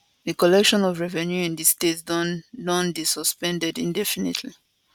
di collection of revenues in di state don don dey suspended indefinitely